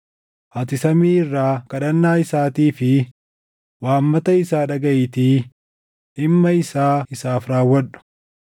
ati samii irraa kadhannaa isaatii fi waammata isaa dhagaʼiitii dhimma isaa isaaf raawwadhu.